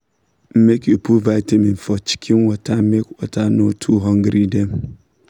make you put vitamin for chicken water make water no too hungry dem